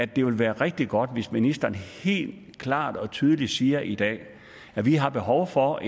det vil være rigtig godt hvis ministeren helt klart og tydeligt siger i dag at vi har behov for